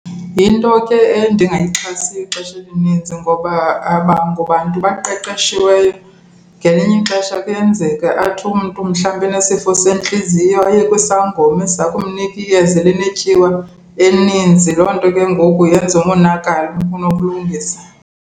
Yinto ke endingayixhasiyo ixesha elininzi ngoba abangobantu baqeqeshiweyo. Ngelinye ixesha kuyenzeka athi umntu mhlawumbi enesifo sentliziyo aye kwisangoma esiza kumnika iyeza elinetyiwa eninzi, loo nto ke ngoku yenze umonakalo kunokulungisa.